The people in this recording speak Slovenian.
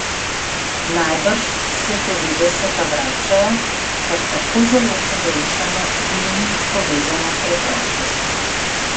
Najbrž se devetdeseta vračajo, ker tako zelo pogrešamo z njimi povezano preprostost.